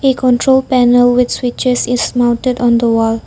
A control panel with switches is mounted on the wall.